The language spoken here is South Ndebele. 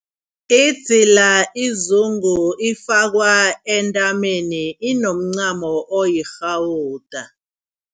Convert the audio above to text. Idzila izungu ifakwa entameni inomncamo oyirhawuda.